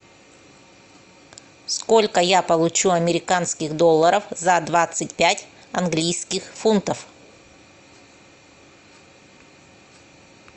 сколько я получу американских долларов за двадцать пять английских фунтов